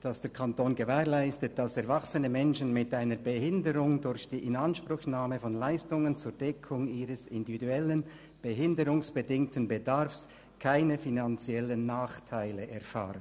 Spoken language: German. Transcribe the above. «Der Kanton gewährleistet, dass erwachsene Menschen mit einer Behinderung durch die Inanspruchnahme von Leistungen zur Deckung ihres individuellen behinderungsbedingten Bedarfs keine finanziellen Nachteile erfahren.